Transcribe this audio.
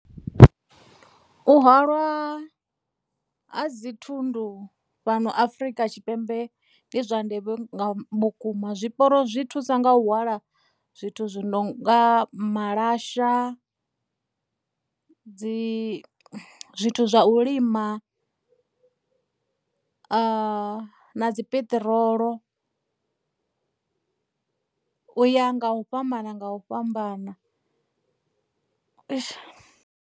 U hwalwa ha dzi thundu fhano Afurika Tshipembe ndi zwa ndeme vhukuma. Zwiporo zwi thusa nga u hwala zwithu zwononga malasha dzi zwithu zwa u lima na dzi peṱirolo uya nga u fhambana nga u fhambana.